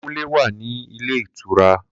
Kunle wà ní ilé ìtura